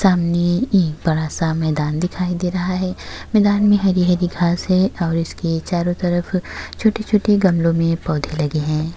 सामने एक बड़ा सा मैंदान दिखाई दे रहा है। मैंदान में हरी-हरी घास है और इसके चारों तरफ छोटे-छोटे गमलो में पौधे लगे हैं।